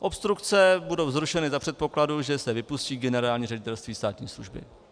Obstrukce budou zrušeny za předpokladu, že se vypustí Generální ředitelství státní služby.